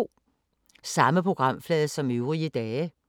Samme programflade som øvrige dage